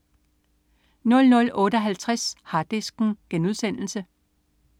00.58 Harddisken*